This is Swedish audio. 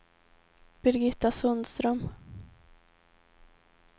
Birgitta Sundström